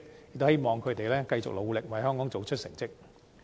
我希望他們繼續努力，為香港做出好成績。